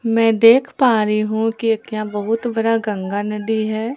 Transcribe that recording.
मैं देख पा रही हूं कि एक यहां बहुत बड़ी गंगा नदी है।